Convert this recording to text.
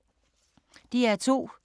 DR2